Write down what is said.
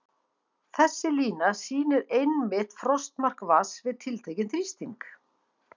Þessi lína sýnir einmitt frostmark vatns við tiltekinn þrýsting.